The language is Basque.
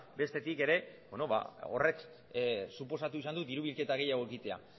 bestetik ere horrek suposatu izan du dirubilketa gehiago egitea